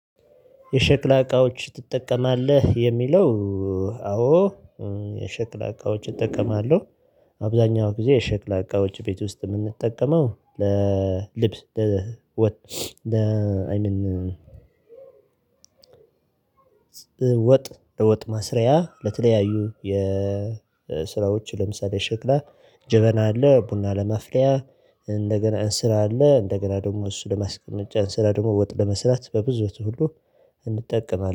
የሸክላ እቃዎች ትጠቀማለህ የሚለው? አዎ። የሸክላ እቃዎች እጠቀማለሁ አብዛኛው ጊዜ የሸክላ አቃወች ቤት ውስጥ እምንጠቀመው ለልብ። ለወጥ ለወጥ መስሪያ ለተለያዩ የስራዎች ለምሳሌ ሽክላ ጀበና አለ ቡና ለማፍሊያ። እንደገና እንስራ አለ እንደገና ደግሞ እሱ ለማስቀመጫ እንስራ ደግሞ ወጥ ለመስራት በብዙዎቹ ሁሉ እንጠቀማለን